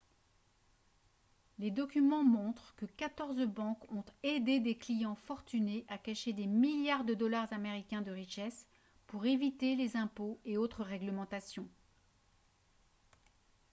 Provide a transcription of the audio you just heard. les documents montrent que 14 banques ont aidé des clients fortunés à cacher des milliards de dollars américains de richesse pour éviter les impôts et autres réglementations